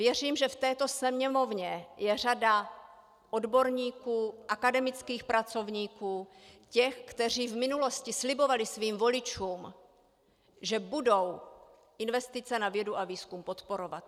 Věřím, že v této Sněmovně je řada odborníků, akademických pracovníků, těch, kteří v minulosti slibovali svým voličům, že budou investice na vědu a výzkum podporovat.